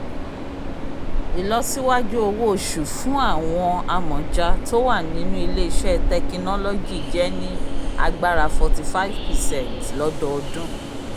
ìlọsíwájú owó oṣù fún àwọn amọ̀ja tó wà nínú ilé-iṣẹ́ tekinólọ́jì jẹ́ ní agbára 45 percent lọ́dọọdún